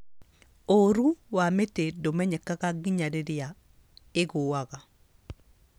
Ũũru wa mĩtĩ ndũmenyekaga nginya rĩrĩa ĩgũaga